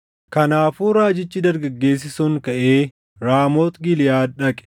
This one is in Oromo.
Kanaafuu raajichi dargaggeessi sun kaʼee Raamooti Giliʼaad dhaqe.